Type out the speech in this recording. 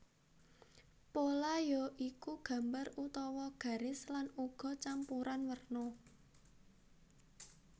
Pola ya iku gambar utawa garis lan uga campuran werna